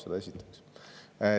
Seda esiteks.